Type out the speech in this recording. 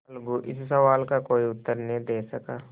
अलगू इस सवाल का कोई उत्तर न दे सका